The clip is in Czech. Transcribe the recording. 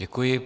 Děkuji.